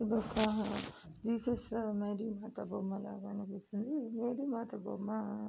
ఇదొక Jesus Mary మాత బొమ్మలాగా కనిపిస్తుంది. మేరీ మాత బొమ్మ--